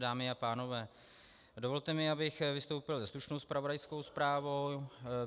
Dámy a pánové, dovolte mi, abych vystoupil se stručnou zpravodajskou zprávou.